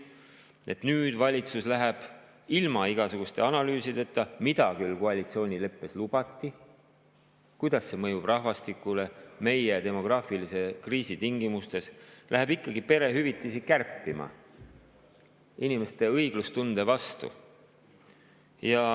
Nüüd läheb valitsus ilma igasuguste analüüsideta selle kohta, kuidas see mõjub rahvastikule meie demograafilise kriisi tingimustes, kuigi seda koalitsioonileppes lubati, ikkagi perehüvitisi kärpima, tehes seda inimeste õiglustunde vastu.